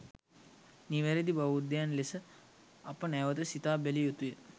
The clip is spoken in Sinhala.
නිවැරැදි බෞද්ධයන් ලෙස අප නැවත සිතා බැලිය යුතුය.